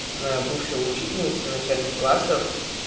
моя бывшая учительница начальных классов